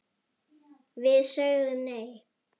Við sögðum nei!